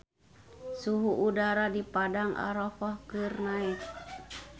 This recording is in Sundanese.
Suhu udara di Padang Arafah keur naek